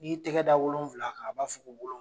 N'i y'i tɛgɛ da wolonvila kan , a b'a fɔ wolon